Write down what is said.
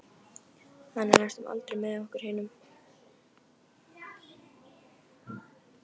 Hann er næstum aldrei með okkur hinum.